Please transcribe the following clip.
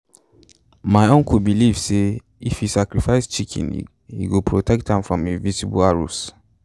my uncle believe say if he sacrifice chicken he go protect am from invisible arrows.